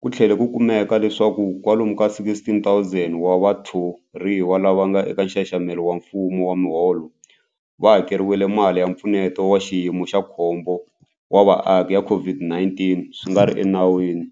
ku tlhele ku kumeka leswaku kwalomu ka 16,000 wa vathoriwa lava nga eka nxaxamelo wa mfumo wa miholo va hakeriwile mali ya Mpfuneto wa Xiyimo xa Khombo wa Vaaki ya COVID-19 swi nga ri enawini.